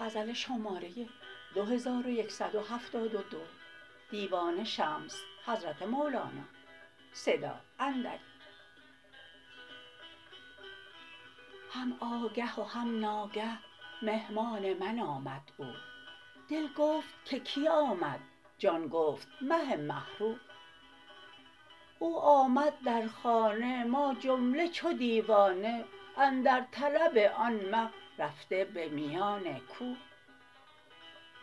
هم آگه و هم ناگه مهمان من آمد او دل گفت که کی آمد جان گفت مه مه رو او آمد در خانه ما جمله چو دیوانه اندر طلب آن مه رفته به میان کو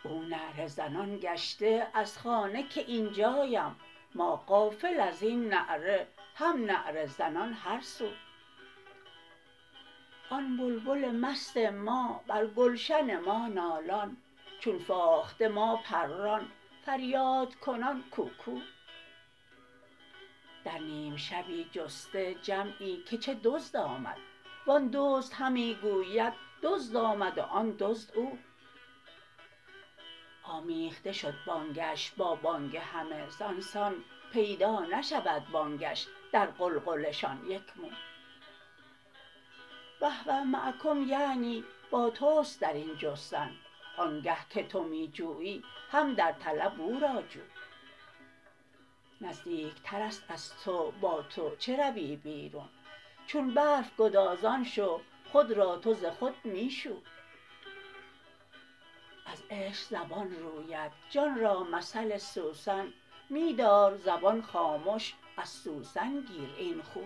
او نعره زنان گشته از خانه که این جایم ما غافل از این نعره هم نعره زنان هر سو آن بلبل مست ما بر گلشن ما نالان چون فاخته ما پران فریادکنان کوکو در نیم شبی جسته جمعی که چه دزد آمد و آن دزد همی گوید دزد آمد و آن دزد او آمیخته شد بانگش با بانگ همه زان سان پیدا نشود بانگش در غلغله شان یک مو و هو معکم یعنی با توست در این جستن آنگه که تو می جویی هم در طلب او را جو نزدیکتر است از تو با تو چه روی بیرون چون برف گدازان شو خود را تو ز خود می شو از عشق زبان روید جان را مثل سوسن می دار زبان خامش از سوسن گیر این خو